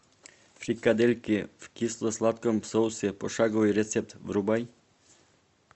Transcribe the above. фрикадельки в кисло сладком соусе пошаговый рецепт врубай